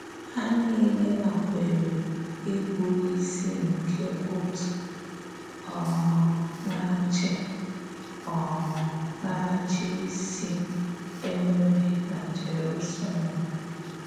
Há niile nàkwèrè íbù ísì nke òtù um na-áchì um na-áchì ísì è nwerè na Jerúsalém.